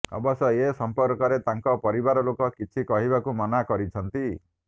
ଅବଶ୍ୟ ଏ ସମ୍ପର୍କରେ ତାଙ୍କ ପରିବାର ଲୋକ କିଛି କହିବାକୁ ମନା କରିଛନ୍ତି